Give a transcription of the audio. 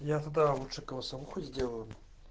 я тогда лучше голосовуху сделаю